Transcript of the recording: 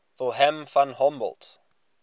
wilhelm von humboldt